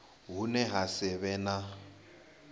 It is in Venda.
hune ha si vhe na